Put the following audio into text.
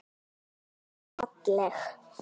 Ást er falleg.